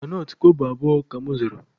Granọt kobo abụọ ka mụ zụrụ